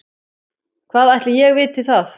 Hvað ætli ég viti það.